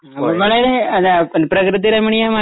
ഒന്നുകൂടി പ്രകൃതിരമണീയമായ